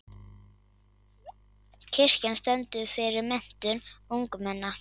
Kirkjan stendur fyrir menntun ungmenna.